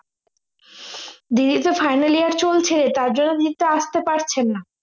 দিদিরতো final year চলছে তার জন্যে দিদিতো আসতে পারছে না